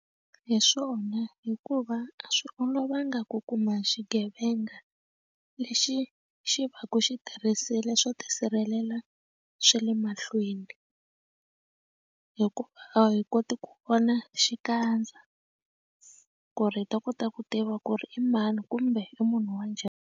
Hi swona hikuva a swi olovanga ku kuma xigevenga lexi xi va ku xi tirhisile swo tisirhelela swa le ma mahlweni hikuva a hi koti ku vona xikandza ku ri hi ta kota ku tiva ku ri i mani kumbe i munhu wa njhani.